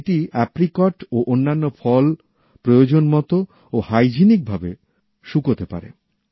এটি আপ্রিকট ও অন্যান্য ফল প্রয়োজন মত ও স্বাস্থ্যসম্মতভাবে শুকাতে পারে